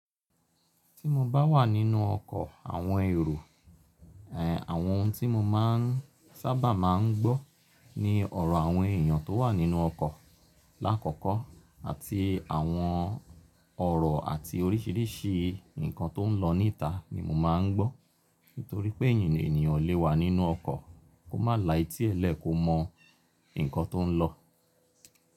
Tí mo bá wà nínú ọkọ̀ àwọn èrò, ẹ̀, àwọn ohun tí mo máa ń sáabà máa ń gbọ́ ni ọ̀rọ̀ àwọn èèyàn tó wà nínú ọkọ̀ lákọ̀kọ́ àti àwọn ọ̀rọ̀ àti oríṣiríṣi nǹkan tó ń lọ níta ni mo máa ń gbọ́. Nítorí pé eeyan ènìyàn o lé wa nínú ọkọ̀, kó má la etí ẹ lẹ kó mọ nǹkan tó ń lọ.